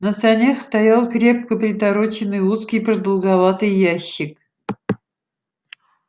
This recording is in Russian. на санях стоял крепко притороченный узкий продолговатый ящик